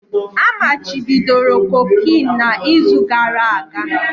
A machibidoro cocaine na izu gara aga